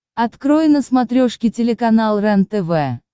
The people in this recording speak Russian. открой на смотрешке телеканал рентв